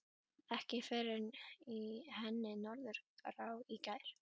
Ekki fyrr en í henni Norðurá í gær.